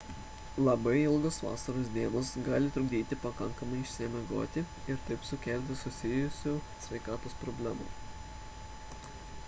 labai ilgos vasaros dienos gali trukdyti pakankamai išsimiegoti ir taip sukelti susijusių sveikatos problemų